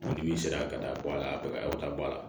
Dibi sera ka taa bɔ a la u ka taa bɔ a la